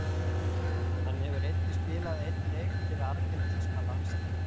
Hann hefur einnig spilað einn leik fyrir argentínska landsliðið.